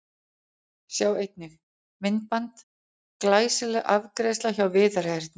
Sjá einnig: Myndband: Glæsileg afgreiðsla hjá Viðari Erni